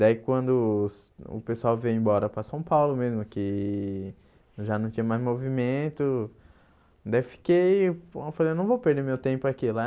Daí, quando o o pessoal veio embora para São Paulo mesmo, que já não tinha mais movimento, daí e fiquei eu falei não vou perder meu tempo aqui.